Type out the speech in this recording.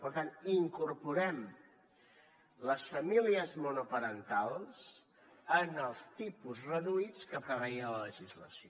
per tant incorporem les famílies monoparentals en els tipus reduïts que preveia la legislació